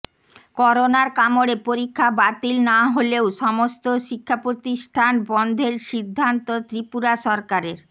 করোনার কামড়ে পরীক্ষা বাতিল না হলেও সমস্ত শিক্ষা প্রতিষ্ঠান বন্ধের সিদ্ধান্ত ত্রিপুরা সরকারের